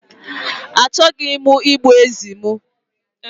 Achọghị m igbu ezi m.